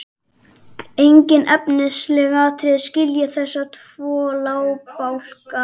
Engin efnisleg atriði skilja þessa tvo lagabálka að.